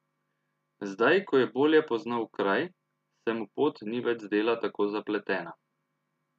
Zdaj ko je bolje poznal kraj, se mu pot ni več zdela tako zapletena.